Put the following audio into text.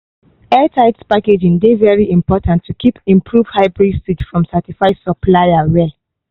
airtight packaging dey very important to keep improved hybrid seed from certified supplier well.